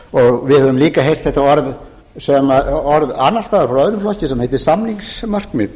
við höfum líka heyrt þetta orð annars staðar frá öðrum flokki sem heitir samningsmarkmið